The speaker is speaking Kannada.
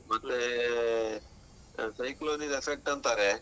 ಮತ್ತೆ ಆ cyclone ನ್ನಿದ್ effect ಅಂತಾರೆ.